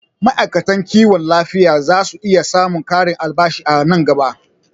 Ma'aikatan kiwon lafiya zasu iya samun ƙarin albashi a nan gaba